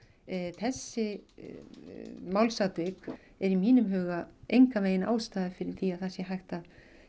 þessi málsatvik er í mínum huga engan vegin ástæða fyrir því að það sé hægt að